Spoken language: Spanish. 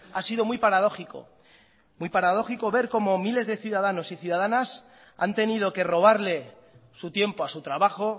ha sido muy paradójico muy paradójico ver como miles de ciudadanos y ciudadanas han tenido que robarle su tiempo a su trabajo